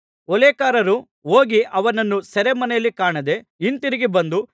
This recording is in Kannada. ಓಲೇಕಾರರು ಹೋಗಿ ಅವರನ್ನು ಸೆರೆಮನೆಯಲ್ಲಿ ಕಾಣದೆ ಹಿಂತಿರುಗಿ ಬಂದು